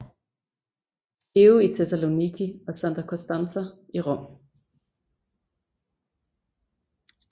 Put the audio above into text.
Georg i Tessaloniki og Santa Constanza i Rom